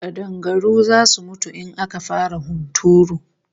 Kadangaru zasu mutu in aka fara hunturu